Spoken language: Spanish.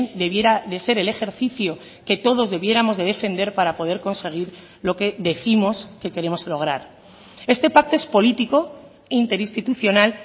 debiera de ser el ejercicio que todos debiéramos de defender para poder conseguir lo que décimos que queremos lograr este pacto es político interinstitucional